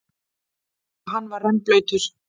Og hann var rennblautur.